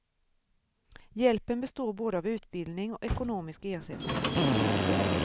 Hjälpen består både av utbildning och ekonomisk ersättning.